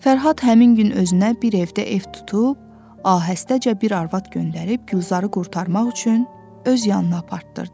Fərhad həmin gün özünə bir evdə ev tutub, ahəstəcə bir arvad göndərib Gülzarı qurtarmaq üçün öz yanına apardırdı.